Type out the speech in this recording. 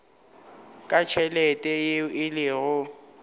ka tšhelete yeo e lego